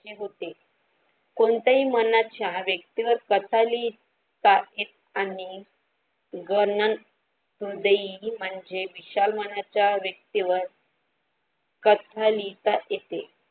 होते कोणत्याही जा मनात व्यक्ती वर कथा लिहितात आणि गर म्हणजे विशाल मनांच्या व्यक्तीवर कथा लिहिता येते.